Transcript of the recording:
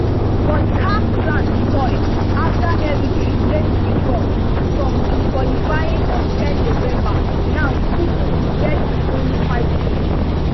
but caf plans spoil afta eritrea late withdrawal from qualifying on ten november now group e get only five teams